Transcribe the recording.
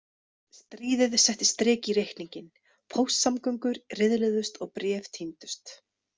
Stríðið setti strik í reikninginn, póstsamgöngur riðluðust og bréf týndust.